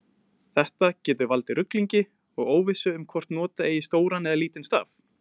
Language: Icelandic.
Þetta getur valdið ruglingi og óvissu um hvort nota eigi stóran eða lítinn staf.